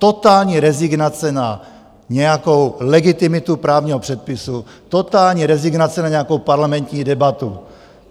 Totální rezignace na nějakou legitimitu právního předpisu, totální rezignace na nějakou parlamentní debatu.